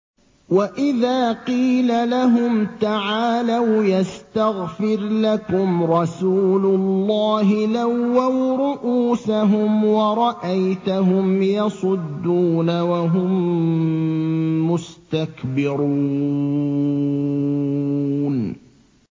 وَإِذَا قِيلَ لَهُمْ تَعَالَوْا يَسْتَغْفِرْ لَكُمْ رَسُولُ اللَّهِ لَوَّوْا رُءُوسَهُمْ وَرَأَيْتَهُمْ يَصُدُّونَ وَهُم مُّسْتَكْبِرُونَ